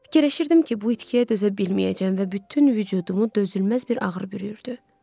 Fikirləşirdim ki, bu itkiyə dözə bilməyəcəm və bütün vücudumu dözülməz bir ağrı bürüyübdü.